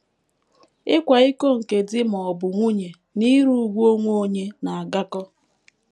Ịkwa iko nke di ma ọ bụ nwunye na ire ùgwù onwe onye, na - agakọ.